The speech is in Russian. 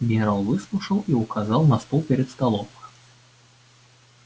генерал выслушал и указал на стул перед столом